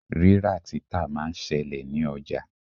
Rírà-títà máa ń ṣẹlẹ̀ ní ọjà.